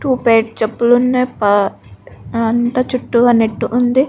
Two pair చెప్పులు ఉన్నాయి. అంతా చుట్టూ పక్కన నెట్ ఉంది.